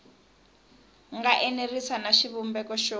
nga enerisi na xivumbeko xo